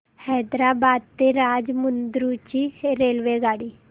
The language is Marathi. हैदराबाद ते राजमुंद्री ची रेल्वेगाडी